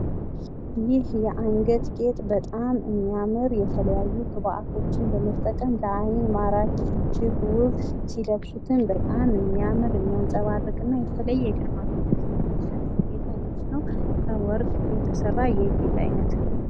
ይህ የአንገት ጌጥ በጣም የሚያምር የተለያዩ ግብአቶችን በመጠቀም ለአይን ማራኪ እጅግ የሚያምር ሲለብሱትም በጣም የሚያምር የሚያንፀባርቅ ግርማ ሞገስ የሚያጎናፅፍ ከወርቅ የተሰራ ጌጥ ነው ።